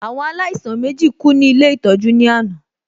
Àwọn alaisan mèjí kú ní Ilé ìtọ́jú ní àná